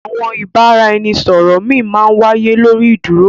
Àwọn ìbàràẹ̀nisọ̀rọ̀ mi má n wàíyé lórí ì dúró.